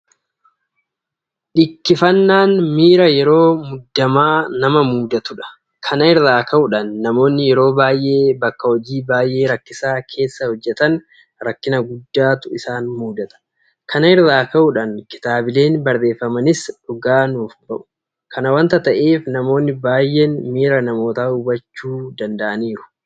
Dhikkifannaan miira yeroo muddamaa nama mudatudha. Kana irraa ka'uudhaan namoonni yeroo baay'ee bakka hojii baay'ee rakkisaa keessa hojjetan rakkina guddaatu isaan mudata. Kana irraa ka'uudhaan kitaabileen barreeffamanis dhugaa nuuf bahu. Kana waanta ta'eef namoonni baay'een miira namootaa hubachuu danda'aniiru.